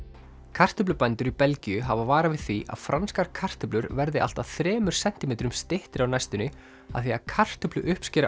kartöflubændur í Belgíu hafa varað við því að franskar kartöflur verði allt að þremur sentimetrum styttri á næstunni af því að kartöfluuppskera